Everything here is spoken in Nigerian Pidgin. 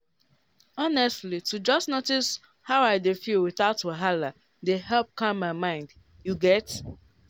honestly to just notice how i dey feel without wahala dey help calm my mind you get?